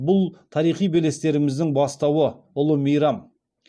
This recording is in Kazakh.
бұл тарихи белестеріміздің бастауы ұлы мейрам